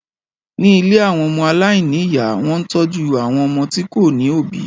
Ni ìlé awọn ọmọ alaini iya, wọn ń tọju awọn ọmọ ti ko ni obi